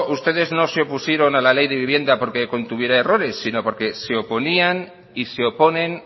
ustedes no se opusieron a la ley de vivienda porque contuviera errores sino porque se oponían y se oponen